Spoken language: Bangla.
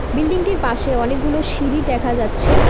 বিল্ডিংটির পাশে অনেকগুলো সিঁড়ি দেখা যাচ্ছে।